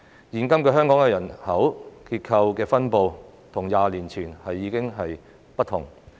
現今的香港人口結構及分布與20年前已大為不同。